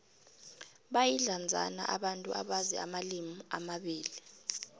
bayindlandzana abantu abazi amalimi amabili